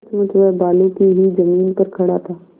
सचमुच वह बालू की ही जमीन पर खड़ा था